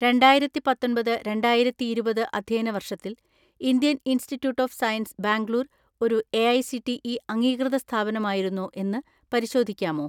രണ്ടായിരത്തിപത്തൊമ്പത് രണ്ടായിരത്തിഇരുപത് അധ്യയന വർഷത്തിൽ Indian Institute of Science Bangalore ഒരു എഐസിടിഇ അംഗീകൃത സ്ഥാപനമായിരുന്നോ എന്ന് പരിശോധിക്കാമോ?